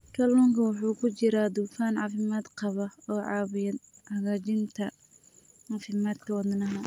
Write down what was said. Kalluunka waxaa ku jira dufan caafimaad qaba oo caawiya hagaajinta caafimaadka wadnaha.